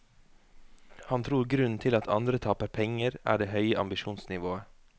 Han tror grunnen til at andre taper penger, er det høye ambisjonsnivået.